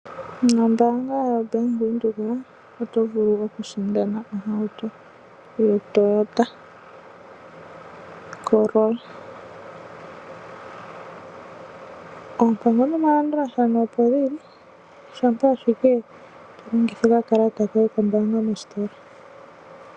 Nombaanga yoBank Windhoek otovulu okusindana ohauto yoToyota Corolla, oompango nomalandulathano opo geli shampa ashike tolongitha okakalata koye kombaanga mositola.